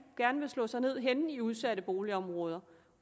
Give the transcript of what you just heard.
gerne vil slå sig ned henne i udsatte boligområder